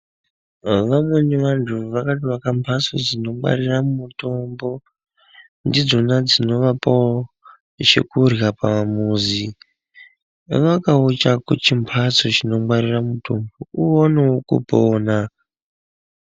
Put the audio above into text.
Vamweni vantu vakatovaka mbatso dzinongwarira mitombo ndidzona dzinovapawo chekurya pamuzi vakawo chako chimbatso chinongwarire mitombo uonewo kupona.